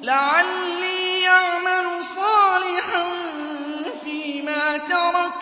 لَعَلِّي أَعْمَلُ صَالِحًا فِيمَا تَرَكْتُ ۚ